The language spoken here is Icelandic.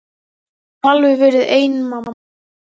Ég get nú alveg verið ein mamma.